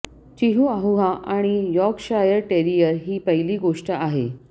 Chihuahua आणि Yorkshire terrier ही पहिली गोष्ट आहे